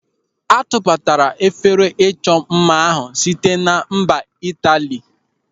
A tụbatara efere ịchọ mma ahụ site na mba Itali.